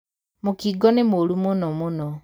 Mũkingo nĩmũru mũno mũno.